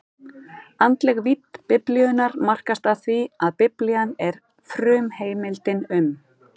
Andleg vídd Biblíunnar markast af því, að Biblían er frumheimildin um